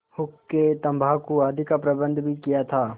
हुक्केतम्बाकू आदि का प्रबन्ध भी किया था